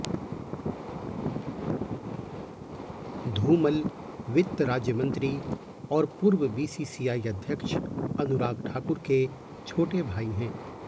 धूमल वित्त राज्यमंत्री और पूर्व बीसीसीआई अध्यक्ष अनुराग ठाकुर के छोटे भाई हैं